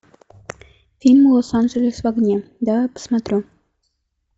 фильм лос анджелес в огне давай посмотрю